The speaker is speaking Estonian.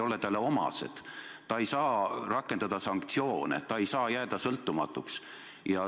See ülesanne ei ole talle omane, ta ei saa rakendada sanktsioone, ta ei saa jääda sõltumatuks.